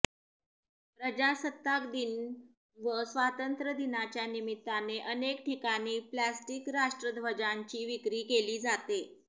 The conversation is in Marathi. प्रजासत्ताकदिन व स्वातंत्र्यदिनाच्या निमित्ताने अनेक ठिकाणी प्लास्टिक राष्ट्रध्वजांची विक्री केली जाते